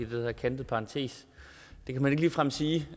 hedder en kantet parentes det kan man ikke ligefrem sige